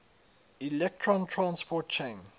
electron transport chain